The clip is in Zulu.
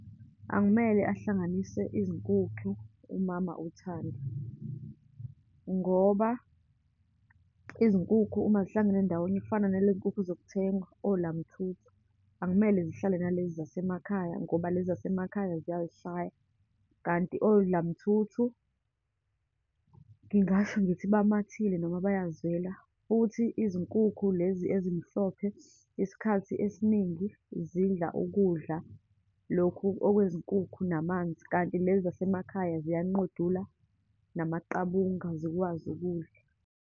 Akumele ahlanganise izinkukhu umama uThando, ngoba izinkukhu uma zihlangene ndawonye, kufana naleyi nkukhu zokuthengwa, olamthuthu, akumele zihlale nalezi zasemakhaya ngoba lezi zasemakhaya ziyayishaya. Kanti olamthuthu ngingasho ngithi bamathile, noma bayazwela, futhi izinkukhu lezi ezimhlophe, isikhathi esiningi zidla ukudla lokhu okwezinkukhu namanzi, kanti lezi zasemakhaya ziyanqodula namaqabunga, zikwazi ukudla.